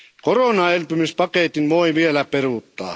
Koronaelpymispaketin voi vielä peruuttaa.